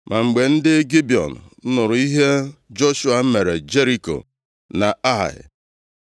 Ma mgbe ndị Gibiọn + 9:3 Ọ ga-ewe onye si Jerusalem na-aga Gibiọn, ije njem ruru iri kilomita. nụrụ ihe Joshua mere Jeriko na Ai,